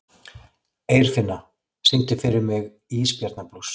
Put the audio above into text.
Eirfinna, syngdu fyrir mig „Ísbjarnarblús“.